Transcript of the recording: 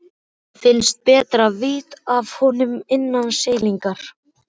Finnst betra að vita af honum innan seilingar.